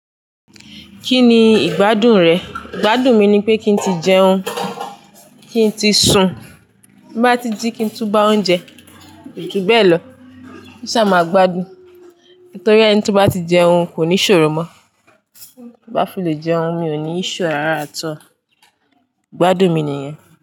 Kí ni ìgbádùn rẹ̀? Ìgbádùn mi ni pé kí n tí jẹun, kí n tí sun, bí bá tí jí kí n tú bá oúnjẹ, kò ju bẹ́ẹ̀ lọ. Ki n ṣà máa gbádùn, torí ẹni tí ó bá ti jẹun kò ní iṣòro mọ. Ti bá fi lè jẹun mi ò ní issue rárá at all. Ìgbádùn mi nìyẹn.